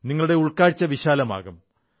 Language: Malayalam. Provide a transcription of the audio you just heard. നിങ്ങളുടെ ഉൾക്കാഴ്ച വിശാലമാകും